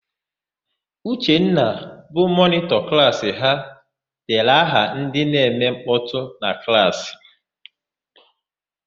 Uchenna, bụ mọnịtọ klaasị ha dere aha ndị na-eme nkpọtụ na klaasị.